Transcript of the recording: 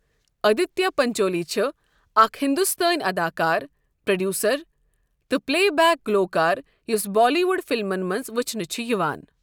آدتیہ پنچولی چھ اکھ ہندوستٲنۍ اداکار، پروڈیوسر تہٕ پلے بیک گُلوکار یس بالی ووڈ فلمَن منٛز وٕچھنہٕ چھ یوان۔